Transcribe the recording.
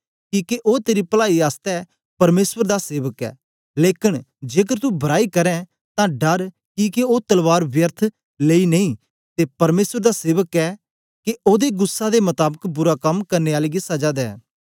किके ओ तेरी पलाई आसतै परमेसर दा सेवक ऐ लेकन जेकर तू बराई करें तां डर किके ओ तलवार व्यर्थ लेई नेई ते परमेसर दा सेवक ऐ के ओदे गुस्सा दे मताबक बुरा कम करने आले गी सजा दे